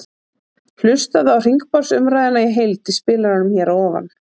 Hlustaðu á hringborðsumræðuna í heild í spilaranum hér að ofan.